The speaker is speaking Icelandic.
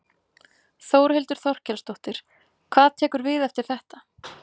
Þórhildur Þorkelsdóttir: Hvað tekur við eftir þetta?